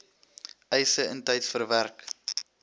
eise intyds verwerk